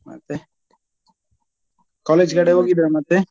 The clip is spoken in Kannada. ಮತ್ತೆ college ಕಡೆ ಹೋಗಿದ್ರಾ ಮತ್ತೆ.